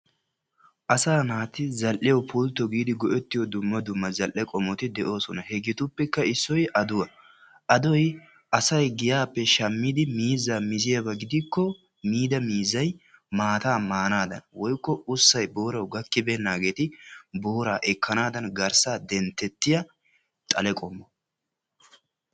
Asaa naati zal'iyawu pulto giidi go'ettiyo dumma dumma zal'e qommoti de'oosona. Hegeetuppekka issoy aduwa, adoy asay giyappe shammiidi miizzaa miziyaba gidikko miida miizzay maataa maanaadan woykko usay boorawu gakkibeenaageeti booraa ekkanaadan garssaa dentetiya xale qommo.